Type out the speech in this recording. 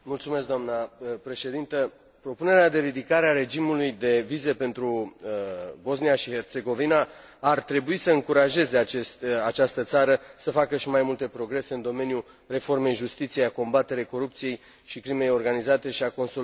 Propunerea de ridicare a regimului de vize pentru Bosnia și Herțegovina ar trebui să încurajeze această țară să facă și mai multe progrese în domeniul reformei justiției, a combaterii corupției și crimei organizate și a consolidării sistemului administrativ.